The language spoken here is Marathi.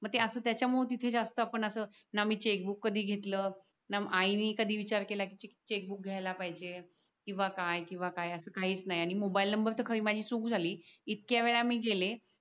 मग ते अस त्याच्यामुळ तिथे जास्त आपण अस ना मी चेक बुक कधी घेतल न आईन कधी विचार केला कि चेक बुक घ्यायला पाहिज किवा काय किवा काय अस काहीच नाही आणि मोबाईल नबर तर खरी माझी चूक झाली इतक्या वेळा मी गेले